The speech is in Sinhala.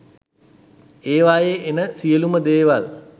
ඒවායේ එන සියළුම දේවල්